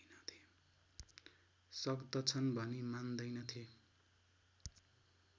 सक्दछन् भनी मान्दैनथे